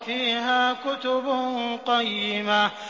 فِيهَا كُتُبٌ قَيِّمَةٌ